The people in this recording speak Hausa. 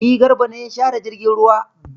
E, Garba ne ya share jirgin ruwa.